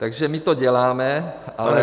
Takže my to děláme, ale -